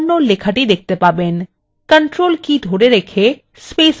আপনি পর্দায় kannada লেখাটি দেখতে পাবেন